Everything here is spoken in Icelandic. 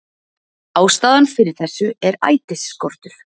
Ástæðan fyrir þessu er ætisskortur